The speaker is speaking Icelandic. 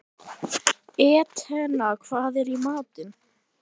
Etna, hvað er í matinn?